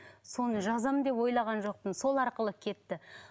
соны жазамын деп ойлаған жоқпын сол арқылы кетті